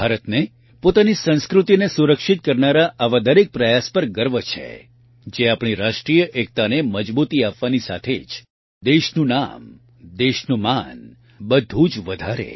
ભારતને પોતાની સંસ્કૃતિને સુરક્ષિત કરનારા આવા દરેક પ્રયાસ પર ગર્વ છે જે આપણી રાષ્ટ્રીય એકતાને મજબૂતી આપવાની સાથે જ દેશનું નામ દેશનું માન બધું જ વધારે